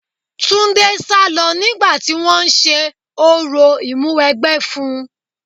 Túndé sálọ nígbà tí wọn ń ṣe orò ìmúwẹgbẹ́ fún-un.